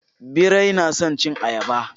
Birai na son cin ayaba.